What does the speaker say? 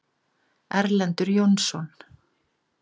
Erlendur Jónsson.